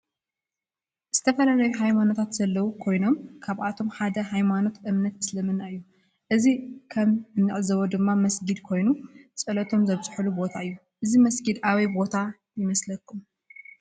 ዝተፈላለዩ ሃይማኖታት ዘለው ኮይኖም ካብአቶም ሓደ ሃይማኖት እምነት እስልምና እዩ። እዚ ከም እንዕዘቦ ድማ መስጊድ ኮይኑ ፀሎቶም ዘብፅሕሉ ቦታ እዩ። እዚ መስጊድ አበይ ቦታ ይመስለኩም?